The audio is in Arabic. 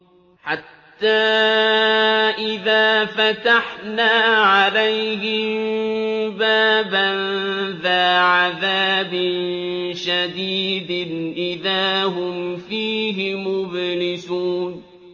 حَتَّىٰ إِذَا فَتَحْنَا عَلَيْهِم بَابًا ذَا عَذَابٍ شَدِيدٍ إِذَا هُمْ فِيهِ مُبْلِسُونَ